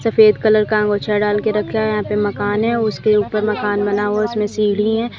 सफेद कलर का अंगूछा दाल के रख्या यहां पे मकान है उसके ऊपर मकान बना हुआ है उसमें सीढ़ी है।